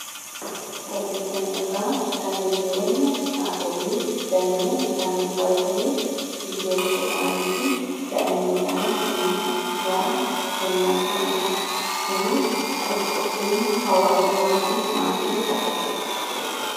bartiisanrraa tannitiiwwanni haalolii daayinnan isaanii qabatanii hiddoo tokko ta'aniifi daa'iman isaaniif kunumsa gara kennaaaniidha kunis watitti dhufeenya hawwaasummaa fi maatii agarsiisa